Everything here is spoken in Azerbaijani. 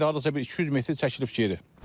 İndi hardasa bir 200 metr çəkilib geri.